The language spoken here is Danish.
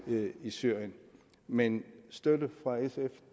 i syrien men støtte fra sf